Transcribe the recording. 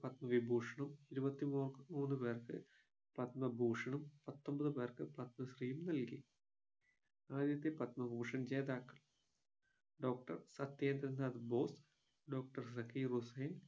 പത്മവിഭൂഷണും ഇരുപത്തിമൂ മൂന്നു പേർക്ക് പത്മഭൂഷണും പത്തൊൻപത് പേർക്ക് പത്മശ്രീയും നൽകി ആദ്യത്തെ പത്മഭൂഷൻ ജേതാക്കൾ doctor സത്യേന്ദ്രനാഥ ബോസ് doctor സക്കീർ ഹുസ്സൈൻ